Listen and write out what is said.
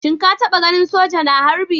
Shin ka taba ganin soja na harbi?